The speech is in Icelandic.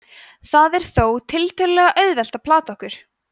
það er þó tiltölulega auðvelt að plata okkur